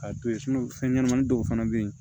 K'a to ye fɛn ɲɛnamani dɔw fana bɛ yen